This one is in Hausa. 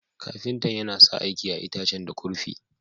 Ƙafintan yana sa aiki a'itacen da kurfi.